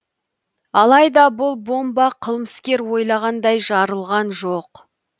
алайда бұл бомба қылмыскер ойлағандай жарылған жоқ